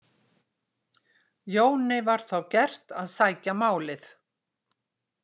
Jóni var þá gert að sækja málið.